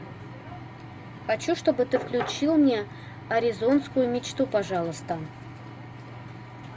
хочу чтобы ты включил мне аризонскую мечту пожалуйста